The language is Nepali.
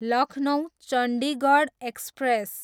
लखनउ, चण्डीगढ एक्सप्रेस